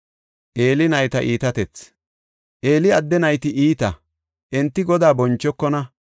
Eeli adde nayti iita; enti Godaa bonchokona.